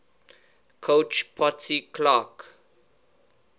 coach potsy clark